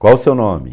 Qual o seu nome?